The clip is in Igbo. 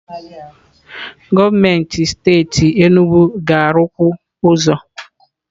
Gọọmenti steeti Enugwu ga-arụkwu ụzọ.